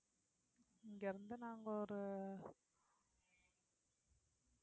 இங்க இருந்து நாங்க ஒரு